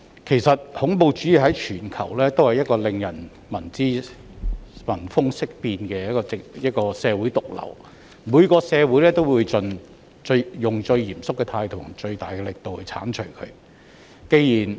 事實上，恐怖主義在全球都是令人聞風色變的社會毒瘤，每個社會都會以最嚴肅的態度和最大的力度將它剷除。